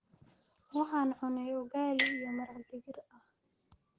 waxaan cunnay ugaali iyo maraq digir ah